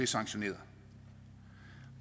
sanktioneret